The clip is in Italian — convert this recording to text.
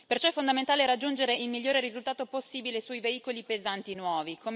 Perciò è fondamentale raggiungere il migliore risultato possibile sui veicoli pesanti nuovi.